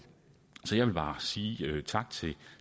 så jeg vil bare sige tak til de